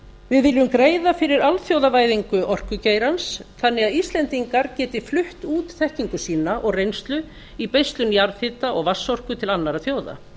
við viljum greiða fyrir alþjóðavæðingu orkugeirans þannig að íslendingar geti flutt út þekkingu sína og reynslu í beislun jarðhita og vatnsorku til annarra þjóða